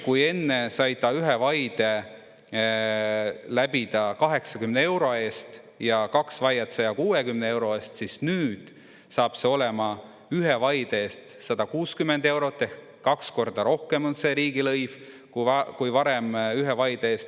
Kui enne sai ta ühe vaide läbida 80 euro eest ja kaks vaiet 160 euro eest, siis nüüd saab see olema ühe vaide eest 160 eurot ehk kaks korda rohkem on see riigilõiv kui varem ühe vaide eest.